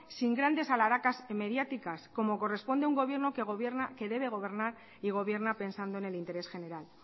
sin grandes alharacas mediáticas como corresponde a un gobierno que debe gobernar y gobierna pensando en el interés general